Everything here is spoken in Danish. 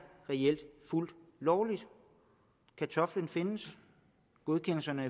reelt fuldt lovligt kartoflen findes godkendelserne